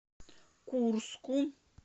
курску